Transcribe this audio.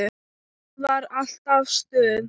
Það var alltaf stuð.